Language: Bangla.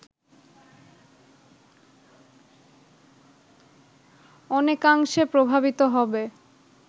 অনেকাংশে প্রভাবিত হবে